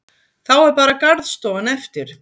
Þá er bara garðstofan eftir.